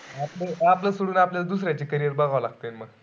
आपले आपलं सोडून आपल्याल दुसऱ्याचे carrier बघाव बसत लागतील मग.